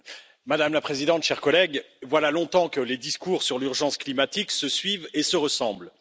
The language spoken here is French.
Madame la Présidente, Chers collègues, voilà longtemps que les discours sur l'urgence climatique se suivent et se ressemblent.